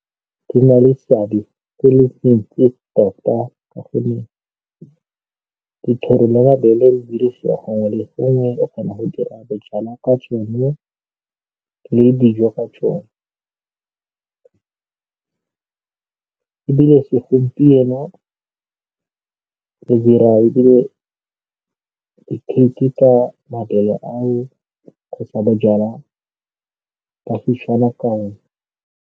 Di na le seabe se le se ntsi tota ka gonne dithoro le mabele di dirisiwa gongwe le gongwe. O kgona go dira bojalwa ka tsone le dijo ka tsone ebile se gompieno re dira ebile di-cake ka mabele ao kgotsa bojalwa ba Setswana ka o ne.